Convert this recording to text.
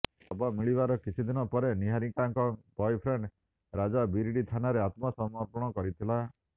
ତେବେ ଶବ ମିଳିବାର କିଛିଦିନ ପରେ ନିହାରିକାଙ୍କ ବୟଫ୍ରେଣ୍ଡ ରାଜା ବିରିଡି ଥାନାରେ ଆତ୍ମ ସମର୍ପଣ କରିଥିଲା